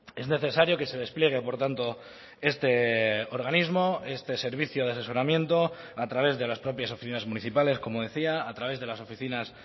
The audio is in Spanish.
es necesario que se despliegue por tanto este organismo este servicio de asesoramiento a través de las propias oficinas municipales como decía a través de las oficinas